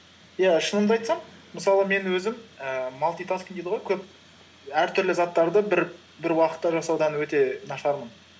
иә шынымды айтсам мысалы мен өзім ііі малтитаскинг дейді ғой көп әртүрлі заттарды бір уақытта жасаудан өте нашармын